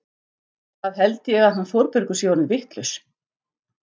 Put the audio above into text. Það held ég að hann Þórbergur sé orðinn vitlaus!